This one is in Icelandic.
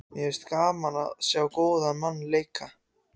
Mér finnst gaman að sjá góðan mann leika.